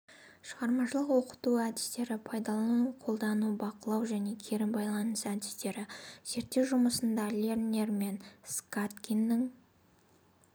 шығармашылық оқыту әдістері пайдалану қолдану бақылау және кері байланыс әдістері зерттеу жұмысында лернер мен скаткиннің